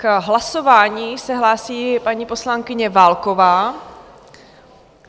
K hlasování se hlásí paní poslankyně Válková.